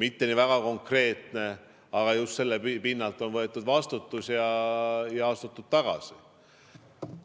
mitte nii väga konkreetne, aga just sellelt pinnalt on võetud vastutus ja astutud tagasi.